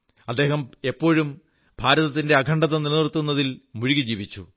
അദ്ദേഹം എപ്പോഴും ഭാരതത്തിന്റെ അഖണ്ഡത നിലനിർത്തുന്നതിൽ മുഴുകി ജീവിച്ചു